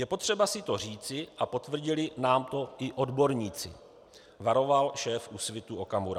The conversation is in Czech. Je potřeba si to říci a potvrdili nám to i odborníci, varoval šéf Úsvitu Okamura.